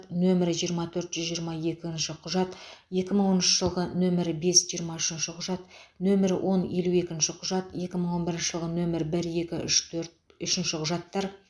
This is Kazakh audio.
нөмірі жиырма төрт жүз жиырма екінші құжат екі мың оныншы жылғы нөмірі бес жиырма үшінші құжат нөмірі он елу екінші құжат екі мың он бірінші жылғы нөмір бір екі үшін төрт үшінші құжаттар